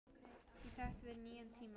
Í takt við nýja tíma.